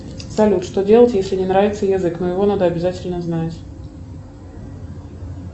салют что делать если не нравится язык но его надо обязательно знать